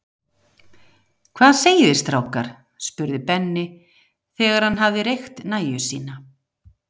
Hvað segið þið strákar? spurði Benni, þegar hann hafði reykt nægju sína.